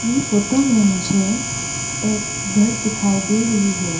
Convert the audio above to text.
ये फोटो में मुझे एक घर दिखाई दे रही है।